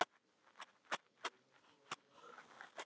Þegar við komum út fórum við að ræða þetta.